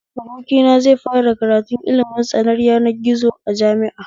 Abokina zai fara kratun ilimin tsaron yanar gizo a jami'a